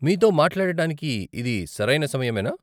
మీతో మాట్లాడటానికి ఇది సరైన సమయమేనా ?